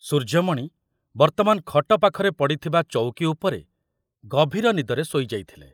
ସୂର୍ଯ୍ୟମଣି ବର୍ତ୍ତମାନ ଖଟ ପାଖରେ ପଡ଼ିଥିବା ଚଉକି ଉପରେ ଗଭୀର ନିଦରେ ଶୋଇଯାଇଥିଲେ